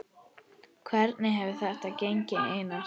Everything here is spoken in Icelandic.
Hvernig hefur þetta gengið Einar?